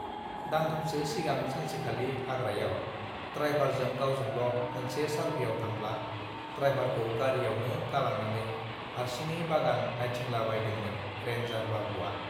दानथामसो सिगां सानसेखालि हाग्रायाव द्रायभारजों गावजोंल मोनसे सारभेयाव थांब् ला ड्रायभारखौ गारियावनो गालांनानै हारसिङै बागान नाइथिंलाबाइदोंमोन रेन् जार बाबुआ